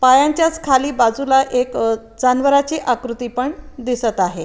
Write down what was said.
पायांच्याच खाली बाजूला एक जानवरांची आकृति पण दिसत आहे.